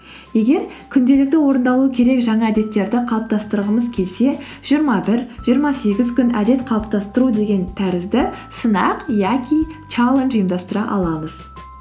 егер күнделікті орындалу керек жаңа әдеттерді қалыптастырғымыз келсе жиырма бір жиырма сегіз күн әдет қалыптастыру деген тәрізді сынақ яки челлендж ұйымдастыра аламыз